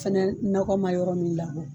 Fɛnɛ nɔkɔ ma yɔrɔ min labɔ.